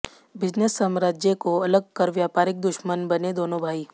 business साम्राज्य को अलग कर व्यापारिक दुश्मन बने दोनों भाई